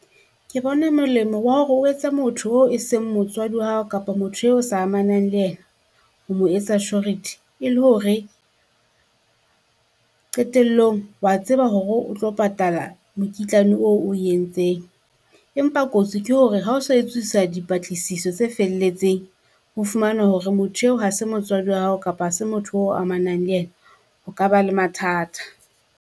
Ke bona molemo wa hore o etse motho o e seng motswadi wa hao kapa motho eo sa amanang le ena, ho mo etsa surety. E le hore qetellong wa tseba hore o tlo patala mokitlane o o entseng. Empa kotsi ke hore ha o so etswisa dipatlisiso tse felletseng, ho fumana hore motho eo ha se motswadi wa hao kapa ha se motho o amanang le ena, o ka ba le mathata.